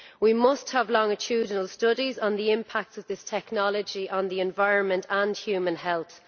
We must have longitudinal studies on the impact of this technology on the environment and human health.